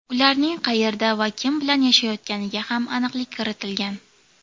Ularning qayerda va kim bilan yashayotganiga ham aniqlik kiritilgan.